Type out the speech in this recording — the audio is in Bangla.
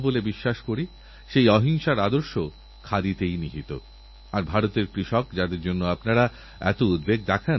আমি আজ যখন রিও অলিম্পিকের কথা বলছি তখন এক কবিতাপ্রেমিক পঞ্জাব কেন্দ্রীয় বিশ্ববিদ্যালয়ের শিক্ষার্থী সুরজপ্রকাশ উপাধ্যায় একটি কবিতাপাঠিয়েছেন